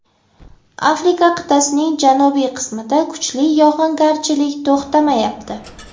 Afrika qit’asining janubiy qismida kuchli yog‘ingarchilik to‘xtamayapti.